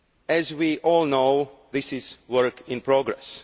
As we all know, this is work in progress